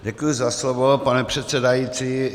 Děkuji za slovo, pane předsedající.